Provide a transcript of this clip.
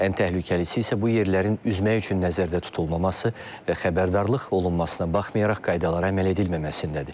Ən təhlükəlisi isə bu yerlərin üzmək üçün nəzərdə tutulmaması və xəbərdarlıq olunmasına baxmayaraq qaydalara əməl edilməməsindədir.